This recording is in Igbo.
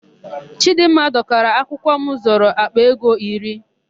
Chịdịmma dọkara akwụkwọ m zụrụ àkpà ego iri.